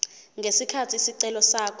ngesikhathi isicelo sakhe